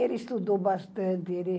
Ele estudou bastante.